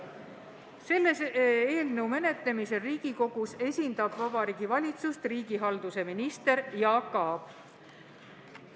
Selle eelnõu menetlemisel Riigikogus esindab Vabariigi Valitsust riigihalduse minister Jaak Aab.